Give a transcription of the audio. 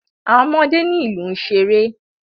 Àwọn ọmọdé ní ìlú n ṣeré.